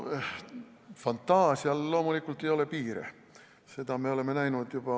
Fantaasial loomulikult ei ole piire, seda me oleme juba näinud.